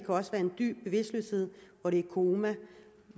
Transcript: også være en dyb bevidstløshed er coma og